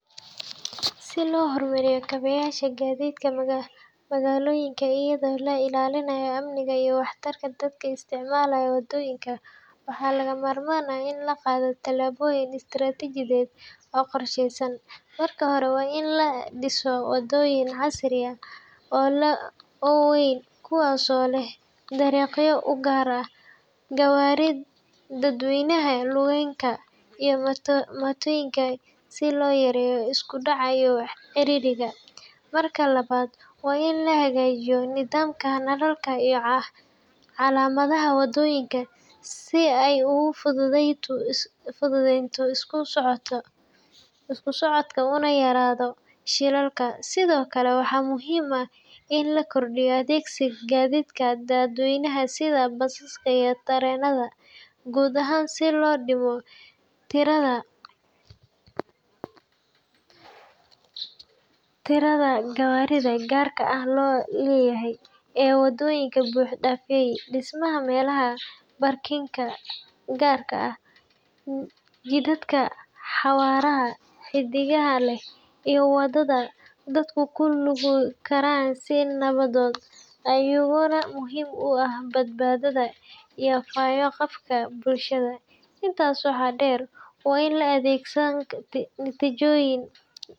Si loo horumariyo kaabeyaasha gaadiidka magaalooyinka, iyadoo la ilaalinayo amniga iyo waxtarka dadka isticmaala waddooyinka, waxaa lagama maarmaan ah in la qaado tallaabooyin istaraatiijiyadeed oo qorsheysan. Marka hore, waa in la dhisaa waddooyin casri ah oo waaweyn, kuwaasoo leh dariiqyo u gaar ah gawaarida dadweynaha, lugaynka, iyo mootooyinka si loo yareeyo isku dhaca iyo ciriiriga. Marka labaad, waa in la hagaajiyaa nidaamka nalalka iyo calaamadaha waddooyinka si ay u fududaato isku socodka una yaraadaan shilalka. Sidoo kale, waxaa muhiim ah in la kordhiyo adeegsiga gaadiidka dadweynaha sida basaska iyo tareenada gudaha si loo dhimo tirada gawaarida gaarka loo leeyahay ee waddooyinka buuxdhaafiya. Dhismaha meelaha baarkinka gaar ah, jidadka xawaaraha xaddidan leh, iyo wadada dadku ku lugayn karaan si nabdoon ayaa iyaguna muhiim u ah badbaadada iyo fayo-qabka bulshada. Intaas waxaa dheer, waa in la adeegsadaa natijoyin.